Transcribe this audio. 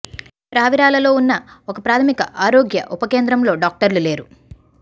రావిరాలలో ఉన్న ఒక ప్రాథమిక ఆరోగ్య ఉప కేంద్రంలో డాక్టర్లు లేరు